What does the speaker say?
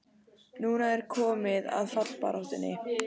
Núna er komið að fallbaráttunni!